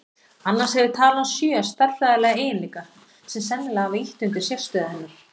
Annars hefur talan sjö stærðfræðilega eiginleika sem sennilega hafa ýtt undir sérstöðu hennar.